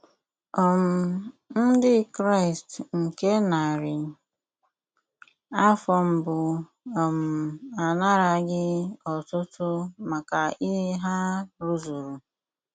um Ndị Kraịst nke narị afọ mbụ um anaraghị otuto maka ihe ha rụzuru.